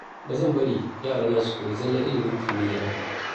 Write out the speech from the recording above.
Ba zan bari yarana su koyi zallar ilimin kimiyya ba.